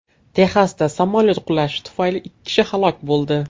Texasda samolyot qulashi tufayli ikki kishi halok bo‘ldi.